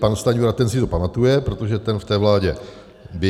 Pan Stanjura, ten si to pamatuje, protože ten v té vládě byl -